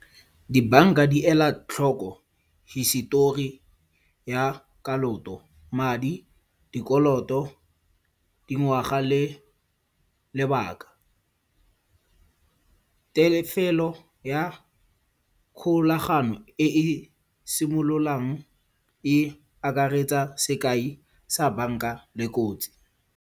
Dibanka di ela tlhoko hisitori ya kaloto, madi, dikoloto, dingwaga le lebaka. Tefelo ya kgolagano e e simololang e akaretsa sekai sa banka le kotsi.